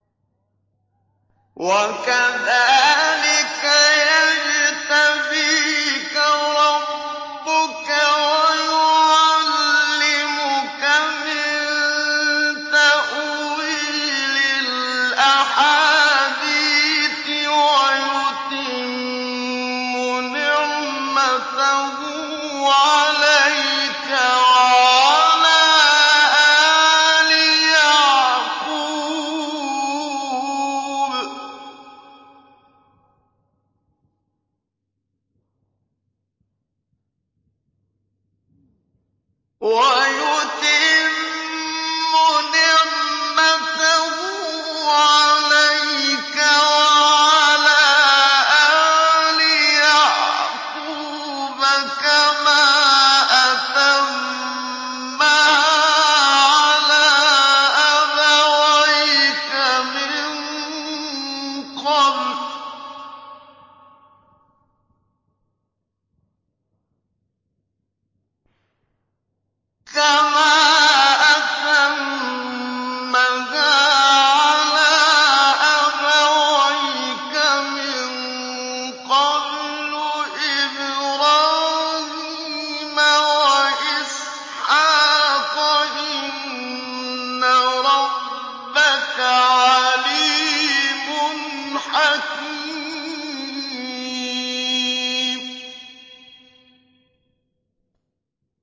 وَكَذَٰلِكَ يَجْتَبِيكَ رَبُّكَ وَيُعَلِّمُكَ مِن تَأْوِيلِ الْأَحَادِيثِ وَيُتِمُّ نِعْمَتَهُ عَلَيْكَ وَعَلَىٰ آلِ يَعْقُوبَ كَمَا أَتَمَّهَا عَلَىٰ أَبَوَيْكَ مِن قَبْلُ إِبْرَاهِيمَ وَإِسْحَاقَ ۚ إِنَّ رَبَّكَ عَلِيمٌ حَكِيمٌ